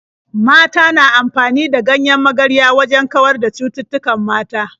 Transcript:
Mata na amfani da ganyen magarya wajen kawar da cututtukan mata.